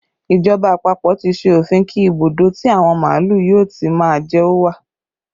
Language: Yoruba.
Ìjọba àpapọ̀ tí ṣe òfin kí ibùdó tí àwọn màálù yóò ti má jẹ ó wà